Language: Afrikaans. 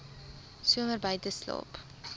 somer buite geslaap